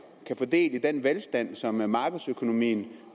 kan få del i den velstand som markedsøkonomien